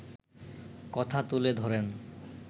কথা তুলে ধরেন